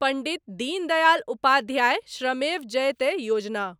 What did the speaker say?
Pandit Deendayal Upadhyay Shramev Jayate Yojana